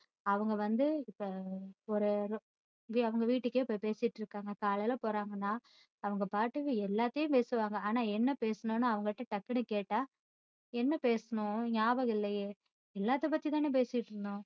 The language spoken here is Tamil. அவங்க வந்து இப்போ ஒரு ஏதொ~ அவங்க வீடுக்கே போய் பேசிட்டு இருக்காங்க காலையில போறாங்கன்னா அவங்க பாட்டுக்கு எல்லாத்தையும் பேசுவாங்க ஆனா என்ன பேசுனோம்ன்னு அவங்ககிட்ட டக்குன்னு கேட்டா என்ன பேசுனோம் ஞாபகம் இல்லையே எல்லாத்த பத்தி தானே பேசிட்டு இருந்தோம்